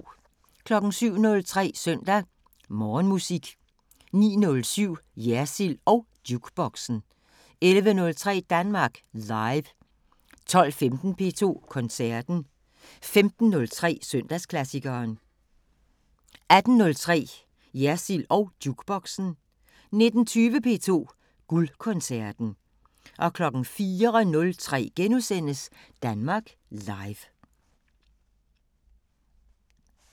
07:03: Søndag Morgenmusik 09:07: Jersild & Jukeboxen 11:03: Danmark Live 12:15: P2 Koncerten 15:03: Søndagsklassikeren 18:03: Jersild & Jukeboxen 19:20: P2 Guldkoncerten 04:03: Danmark Live *